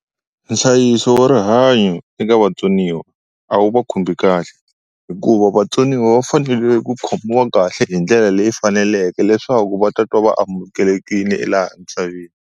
Nhlayiso wa rihanyo eka vatsoniwa a wu va khumbhi kahle hikuva vatsoniwa va fanele ku khomiwa kahle hi ndlela leyi faneleke leswaku va tatwa va amukelekile elaha misaveni.